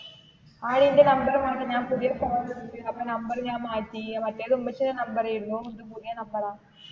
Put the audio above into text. ആടി എന്റെ number മാറ്റി ഞാൻ പുതിയ number എടുത്തു അപ്പൊ number ഞാൻ മാറ്റി. മറ്റേത് ഉമ്മച്ചീടെ number ആയിരുന്നു, ഇത് പുതിയ number ആ.